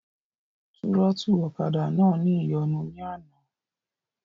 Túrọ́tù ọ̀kadà náà ní ìyọnu ní àná